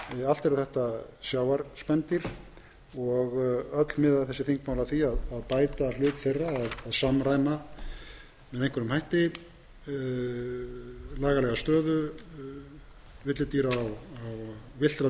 allt eru þetta sjávarspendýr og öll miða þessi þingmál að því að bæta hlut þeirra að samræma með einhverjum hætti lagalega stöðu villtra